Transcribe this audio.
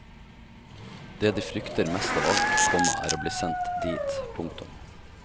Det de frykter mest av alt, komma er å bli sendt dit. punktum